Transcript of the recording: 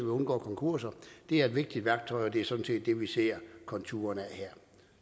undgår konkurser det er et vigtigt værktøj og det er sådan set det vi ser konturerne af her